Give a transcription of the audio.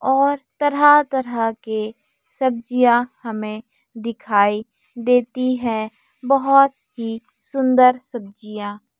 और तरह तरह के सब्जियां हमें दिखाई देती हैं बहोत ही सुंदर सब्जियां।